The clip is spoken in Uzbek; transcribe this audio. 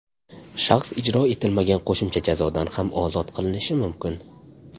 Shaxs ijro etilmagan qo‘shimcha jazodan ham ozod qilinishi mumkin.